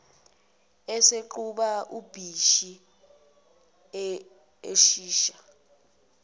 eseqhuba ubhisi oshisha